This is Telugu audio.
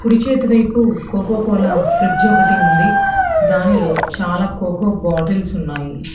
కుడి చేతి వైపు కోకోకోలా ఫ్రిడ్జ్ ఒకటి ఉంది చాలా దానిలో చాలా కోకో బాటిల్స్ ఉన్నాయి.